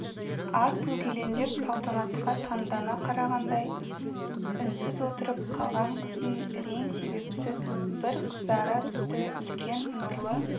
аз бөгелеңдеп салтанатқа таңдана қарағандай үнсіз отырып қалған қыздың рең себепсіз бір қызара түсті үлкен нұрлы